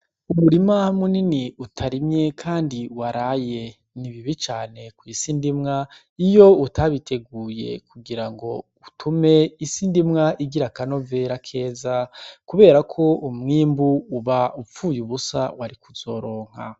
Umurima munini utarimye, kandi waraye nibibi cane ku'isindimwa iyo utabiteguye kugira ngo utume isindimwa igira akanovera keza, kubera ko umwimbu uba upfuye ubusa wari kuzoronka.